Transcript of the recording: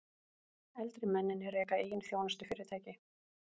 Eldri mennirnir reka eigin þjónustufyrirtæki